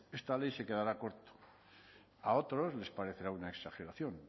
esta ley se quedará corta a otros les parecerá una exageración